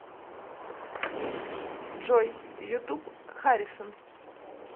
джой ютуб харисон